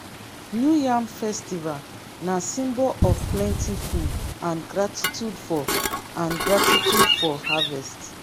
new yam festival na symbol of plenty food and gratitude for and gratitude for harvest.